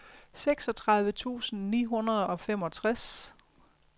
seksogtredive tusind ni hundrede og femogtres